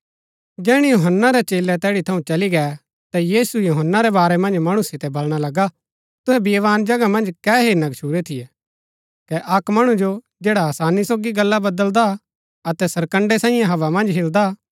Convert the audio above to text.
जैहणै यूहन्‍ना रै चेलै तैड़ी थऊँ चली गै ता यीशु यूहन्‍ना रै बारै मन्ज मणु सितै बलणा लगा तुहै बियावान जगह मन्ज कै हेरना गच्छुरै थियै कै अक्क मणु जो जैड़ा आसानी सोगी गल्ला बदलदा अतै सरकण्ड़ैं सांईये हव्वा मन्ज हिलदा